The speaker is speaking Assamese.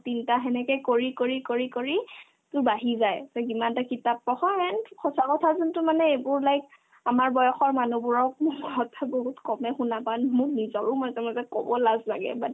তিনটা সেনেকে কৰি কৰি কৰি কৰি তোৰ বাঢ়ি যায় তই যিমান তই কিতাপ পঢ় and সঁচা কথা যোনতো মানে এইবোৰ like আমাৰ বয়সৰ মানুহবোৰৰ হঠাৎ বহুত কমে শুনা টান মোৰ নিজৰো মই একেলগে ক'ব লাজ লাগে but